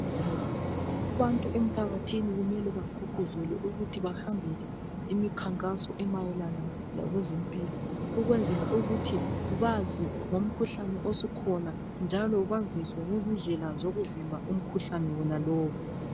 Abantu emphakathini kumele bagqugquzelwe ukuthi bahambele imikhankaso emayelana lokwezempilo ukwenzela ukuthi bazi ngomkhuhlane osukhona njalo baziswe ngezindlela zokuvimba umkhuhlane wonalowo.